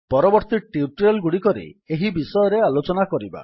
ପରବର୍ତ୍ତୀ ଟ୍ୟୁଟୋରିଆଲ୍ ଗୁଡ଼ିକରେ ଏହି ବିଷୟରେ ଆଲୋଚନା କରିବା